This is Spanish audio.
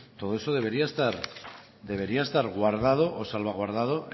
todo eso debería estar guardado o salvaguardado